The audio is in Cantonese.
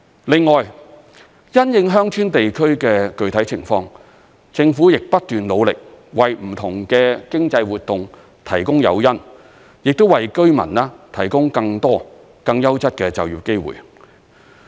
另外，因應鄉村地區的具體情況，政府亦不斷努力，為不同的經濟活動提供誘因，亦為居民提供更多、更優質的就業機會。